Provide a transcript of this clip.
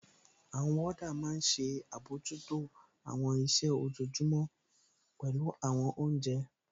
Àwọn wọ́ọ́dà máa n ṣe àbojútó àwọn iṣẹ́ ojojúmọ́, pẹ̀lú àwọn oúnjẹ